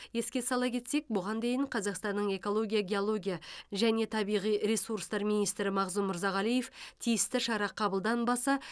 еске сала кетсек бұған дейін қазақстанның экология геология және табиғи ресурстар министрі мағзұм мырзағалиев тиісті шара қабылданбаса